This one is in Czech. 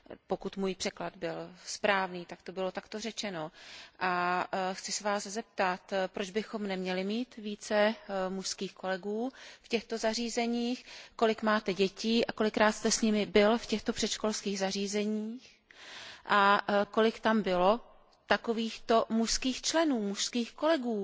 Pokud byl můj překlad správný, tak to bylo takto řečeno a chci se Vás zeptat, proč bychom neměli mít více mužských kolegů v těchto zařízeních, kolik máte dětí a kolikrát jste s nimi byl v těchto předškolních zařízeních a kolik tam bylo takovýchto mužských členů, mužských kolegů?